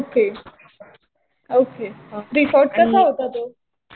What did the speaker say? Okay okay. Resort कसा होता तो?